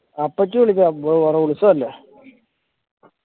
അപ്പച്ചി വിളിച്ച ഉത്സവം അല്ലെ